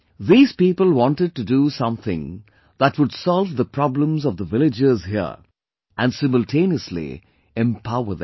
These people wanted to do something that would solve the problems of the villagers here and simultaneously empower them